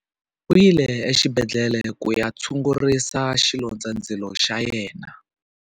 U yile exibedhlele ku ya tshungurisa xilondzandzilo xa yena.